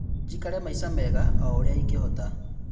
"Njikare maisha mega o-ũrĩa ingĩhota."